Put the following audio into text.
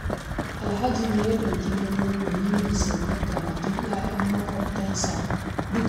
Alhaji ne ya ɗauki nauyin walimar saukar karatun 'ya'yan maƙwabtansa dukka